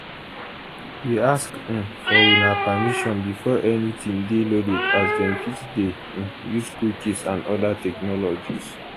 we ask um for una permission before anytin dey loaded as dem fit dey um use cookies and oda technologies